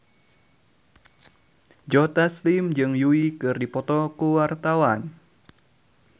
Joe Taslim jeung Yui keur dipoto ku wartawan